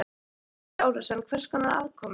Andri Ólafsson: Hvers konar aðkomu?